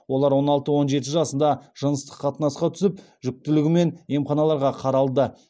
олар он алты он жеті жасында жыныстық қатынасқа түсіп жүкітілігімен емханаларға қаралды